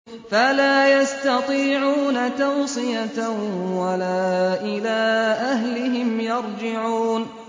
فَلَا يَسْتَطِيعُونَ تَوْصِيَةً وَلَا إِلَىٰ أَهْلِهِمْ يَرْجِعُونَ